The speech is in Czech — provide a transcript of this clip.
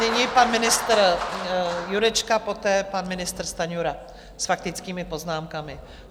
Nyní pan ministr Jurečka, poté pan ministr Stanjura s faktickými poznámkami.